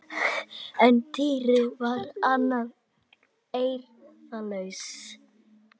En Týri var enn eirðarlaus.